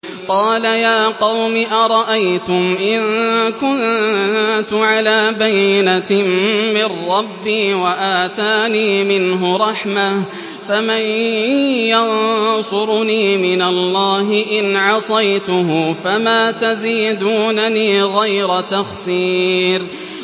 قَالَ يَا قَوْمِ أَرَأَيْتُمْ إِن كُنتُ عَلَىٰ بَيِّنَةٍ مِّن رَّبِّي وَآتَانِي مِنْهُ رَحْمَةً فَمَن يَنصُرُنِي مِنَ اللَّهِ إِنْ عَصَيْتُهُ ۖ فَمَا تَزِيدُونَنِي غَيْرَ تَخْسِيرٍ